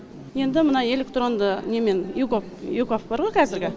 енді мына электронды немен егов егов бар ғой қазіргі